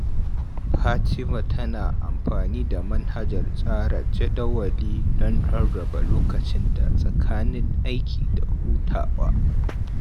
Fatima tana amfani da manhajar tsara jadawali don rarraba lokacinta tsakanin aiki da hutawa.